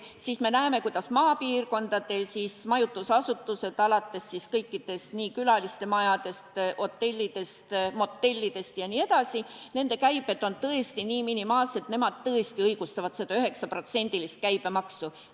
Samas me näeme, kuidas maapiirkondade majutusasutuste – alates kõikidest külalistemajadest, hotellidest, motellidest jne – käibed on tõesti nii minimaalsed, et nemad tõesti õigustavad seda 9% käibemaksu.